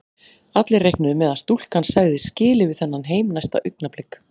Allir reiknuðu með að stúlkan segði skilið við þennan heim næsta augnablik.